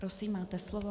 Prosím, máte slovo.